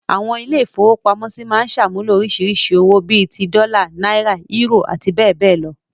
Àwọn ilé-ìfowópamọ́sí máa ń ṣàmúlò oríṣiríṣi àwọn owó, bí i ti; dọ́là, náírà, eúrò àti bẹ́ẹ̀ bẹ́ẹ̀ lọ.